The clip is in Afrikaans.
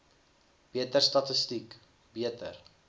beter statistiek beter